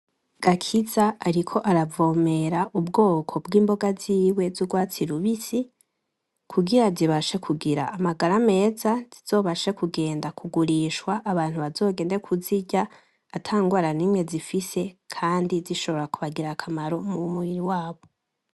Gakiza ariko aravomera ubwoko bw'imboga ziwe z'urwatsi rubisi, kugira zibashe kugira amagara meza. Zizobashe kugenda kugurishwa, abantu bazogende kuzirya atangwara nimwe zifise, kandi zishobora kubagirira akamaro nk'umuntu w'umurimyi wabo.